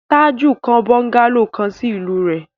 Tájù kọ́ bọ́ńgálò kan sí ìlú rẹ̀.